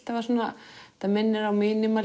þetta minnir á